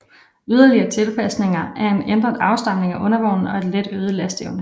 Yderligere tilpasninger er en ændret afstemning af undervognen og et let øget lasteevne